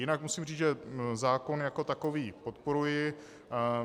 Jinak musím říct, že zákon jako takový podporuji.